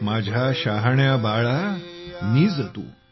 माझ्या शहाण्या बाळा निज तू